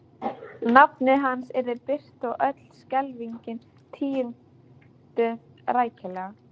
Nafnið hans yrði birt og öll skelfingin tíunduð rækilega.